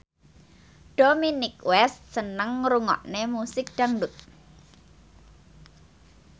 Dominic West seneng ngrungokne musik dangdut